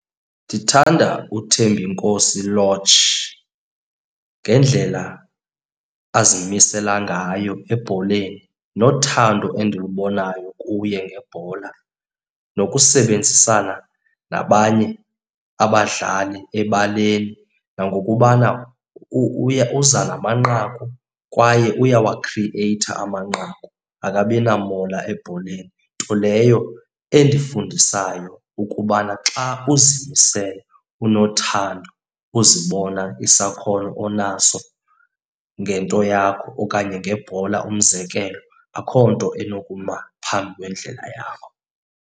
Ndithanda uThembinkosi Lorch ngendlela azimisela ngayo ebholeni nothando endilubonayo kuye ngebhola nokusebenzisana nabanye abadlali ebaleni. Nangokubana uza namanqaku kwaye uyawakhriyeyitha amanqaku, akabinamona ebholeni. Nto leyo endifundisayo ukubana xa uzimisele, unothando, uzibona isakhono onaso ngento yakho okanye ngebhola umzekelo, akho nto enokuma phambi kwendlela yakho.